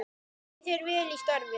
Gangi þér vel í starfi.